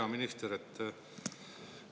Hea minister!